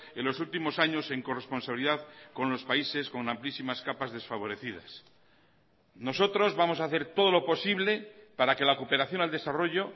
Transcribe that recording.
en los últimos años en corresponsabilidad con los países con amplísimas capas desfavorecidas nosotros vamos a hacer todo lo posible para que la cooperación al desarrollo